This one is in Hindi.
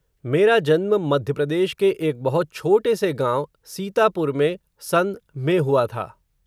मेरा जन्म, मध्य प्रदेश के एक बहुत छोटे से गांव, सीतापुर में, सन में हुआ था